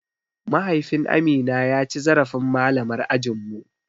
Mahaifin Amina ya ci zarafin malamar ajin mu.